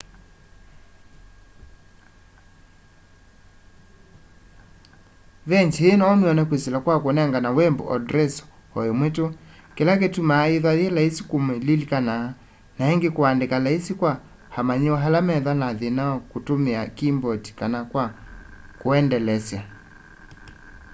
veengyi ii noumyone kwisila kwa kunengane web andresi o imwe tu kila kitumaa yithwa yi laisi kumililikana na ingi kuandika laisi kwa amanyiw'a ala methwa na thina wa kutumia kiimboti kana kwa kuendelesya